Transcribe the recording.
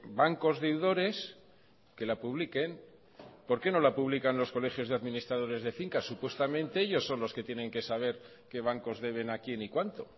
bancos deudores que la publiquen por qué no la publican los colegios de administradores de fincas supuestamente ellos son los que tienen que saber qué bancos deben a quién y cuánto